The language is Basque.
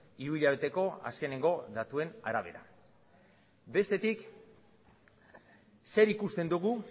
hiruhilabeteko azkeneko datuen arabera bestetik zer ikusten dugu